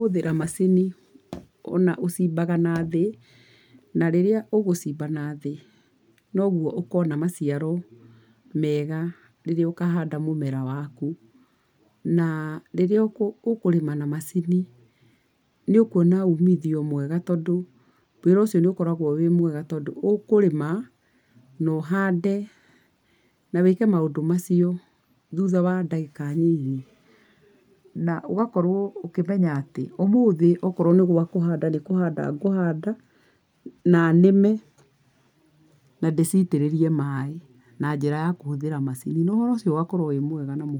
Kũhũthĩra macini, o na ũcimbaga nathĩ na rĩrĩa ũgũcimba nathĩ, no guo okona maciaro mega rĩrĩa ũkahanda mũmera waku. Na rĩrĩa ũkũrĩma na macini nĩ ũkũona uumithio mwega tondũ wĩra ũcio nĩ ũkoragwo wĩ mwega, tondũ ũkũrĩma na ũhande, na wĩke maũndũ macio thutha wa ndagĩka nini. Na ũgakorwo ũkĩmenya atĩ ũmũthĩ okorwo nĩ gwa kũhanda nĩ kũhanda ngũhanda, na nĩme na ndĩciitĩrĩrie maaĩ, na njĩra ya kũhũthĩra macini na wĩra ũcio ũgakorwo wĩ mwega na-